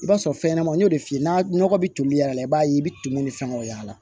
I b'a sɔrɔ fɛn ɲɛnɛmaw y'o de f'i ye n'a nɔgɔ bɛ toli y'a la i b'a ye i bi tumuni ni fɛnw y'a la